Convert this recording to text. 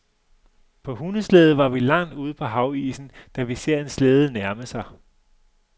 På hundeslæde var vi langt ude på havisen, da vi ser en slæde nærme sig.